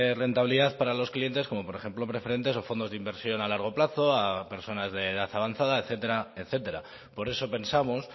rentabilidad para los clientes como por ejemplo preferentes o fondos de inversión a largo plazo a personas de edad avanzada etcétera etcétera por eso pensamos